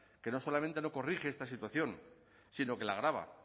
que no solamente no corrige esta situación sino que la agrava